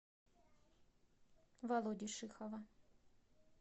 володи шихова